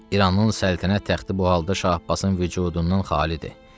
İranın səltənət taxtı bu halda Şah Abbasın vücudundan xalidir.